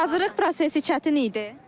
Hazırlıq prosesi çətin idi?